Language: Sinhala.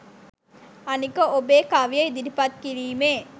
අනික ඔබේ කවිය ඉදිරිපත් කිරීමේ